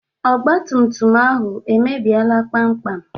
Ọgbatumtum ahụ emebiela kpamkpam?